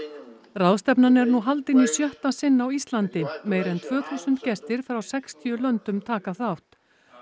ráðstefnan er nú haldin í sjötta sinn á Íslandi meira en tvö þúsund gestir frá sextíu löndum taka þátt